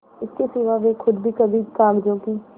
इसके सिवा वे खुद भी कभी कागजों की